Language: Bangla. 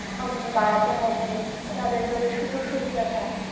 উম বাড়াতে হবে তাঁদের জন্য সুযোগ সুবিধাটা।